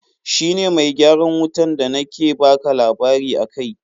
Shi ne mai gyaran wutan da na ke baka labari akai.